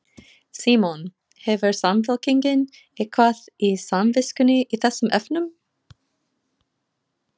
Símon: Hefur Samfylkingin eitthvað á samviskunni í þessum efnum?